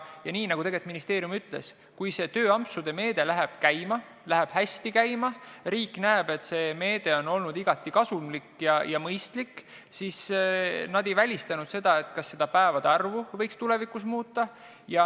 Ja nii nagu ministeerium ütles, kui see tööampsude meede läheb hästi käima ja riik näeb, et see on olnud igati kasumlik ja mõistlik, siis ei ole välistatud, et tulevikus võiks päevade arvu muuta.